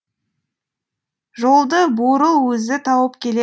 жолды бурыл өзі тауып келе